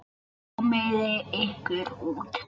Komiði ykkur út.